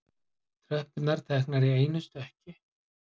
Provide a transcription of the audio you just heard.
Tröppurnar teknar í einu stökki.